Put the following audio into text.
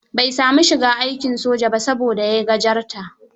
Bai saami shiga aikin soja ba, saboda yai gajarta.